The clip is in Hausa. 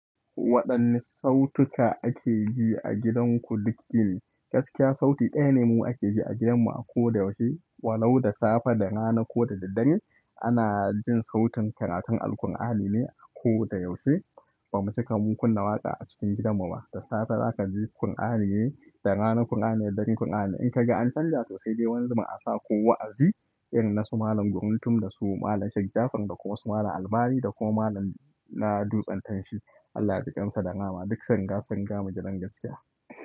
Waɗanne sautuka ake ji a gidanku duk yini? Gaskiya, sauti ɗaya ne mu ake ji a gidanmu a koda yaushe. Walau da safe da rana ko da dare, ana jin sautin karatun Alqur'ani ne a koda yaushe. Ba mu cika mu kunna waƙa a cikin gidanmu ba. Da safe zaka ji Kur'anine, da rana Kur'ani, da dare Kur'ani. In ka ga jian canja to sai da wani zubin asa kowa a ji, irin na su Malam Guruntum da su Malam Sheik jafar da kuma su Malam Albani da kuma Malam na dutsen tansi. Allah jikan su da rahama. Duk sanga-sun riga mu gidan gaskiya.